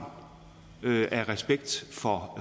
af respekt